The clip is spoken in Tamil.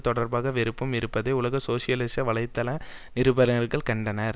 தொடர்பாக வெறுப்பும் இருப்பதை உலக சோசியலிச வலைத்தள நிருபர்கள் கண்டனர்